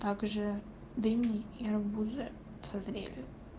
также дыни и арбузы созрели